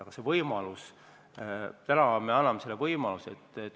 Aga see on võimalus, täna me anname selle võimaluse.